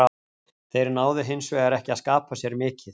Þeir náðu hinsvegar ekki að skapa sér mikið.